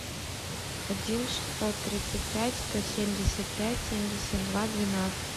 один шестьсот тридцать пять сто семьдесят пять семьдесят два двенадцать